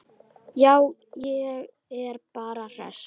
Já, ég er bara hress.